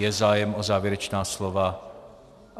Je zájem o závěrečná slova?